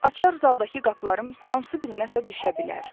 Açar zaldakı qapıların hansı birinə isə düşə bilər.